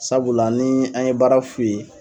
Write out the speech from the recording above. Sabula ni an ye baara f'i ye